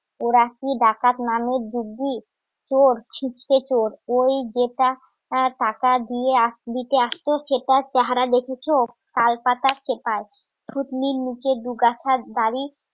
ওরা কি ডাকাত নামের যোগ্য চোর ছিচকে চোর ওই যেটা টাকা দিয়ে দিতে আসতো সেটা চেহারা দেখেছো তালপাতার খেপায় নিচে দুগাছার দাড়ি